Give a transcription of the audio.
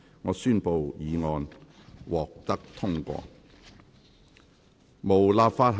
我宣布議案獲得通過。